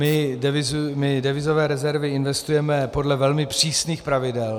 My devizové rezervy investujeme podle velmi přísných pravidel.